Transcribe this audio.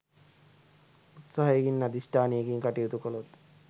උත්සාහයකින් අධිෂ්ඨානයකින් කටයුතු කළොත්